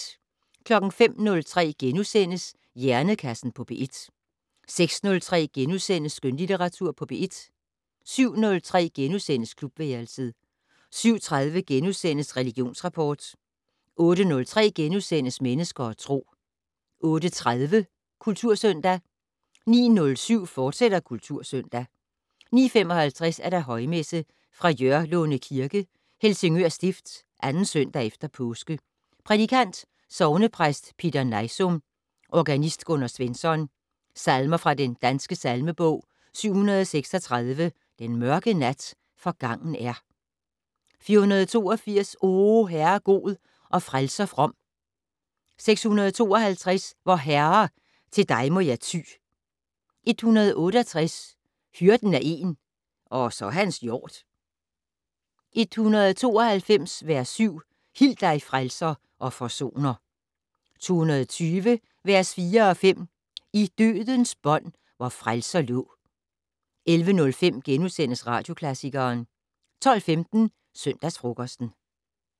05:03: Hjernekassen på P1 * 06:03: Skønlitteratur på P1 * 07:03: Klubværelset * 07:30: Religionsrapport * 08:03: Mennesker og Tro * 08:30: Kultursøndag 09:07: Kultursøndag, fortsat 09:55: Højmesse - Fra Jørlunde Kirke, Helsingør Stift. 2. søndag efter påske. Prædikant: Sognepræst Peter Nejsum. Organist: Gunnar Svensson. Salmer fra Den Danske Salmebog: 736 "Den mørke nat forgangen er". 482 "O Herre god og frelser from". 652 "Vor Herre! til dig må jeg ty". 168 "Hyrden er én, og så hans hjord". 192 - vers 7 "Hil dig, Frelser og Forsoner". 220 - vers 4 og 5 "I dødens bånd vor frelser lå". 11:05: Radioklassikeren * 12:15: Søndagsfrokosten